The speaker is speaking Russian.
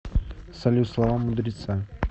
салют слова мудреца